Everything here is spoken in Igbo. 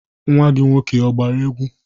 Nwa gi nwoke a gbara egwu?